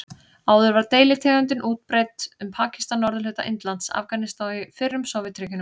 Áður var deilitegundin útbreidd um Pakistan, norðurhluta Indlands, Afganistan og í fyrrum Sovétríkjunum.